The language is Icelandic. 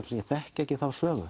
ég þekki ekki þá sögu